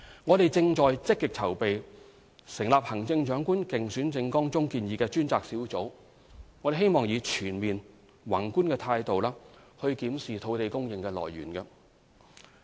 我們正積極籌備成立行政長官競選政綱中建議的專責小組，希望以全面、宏觀的態度檢視土地供應的來源。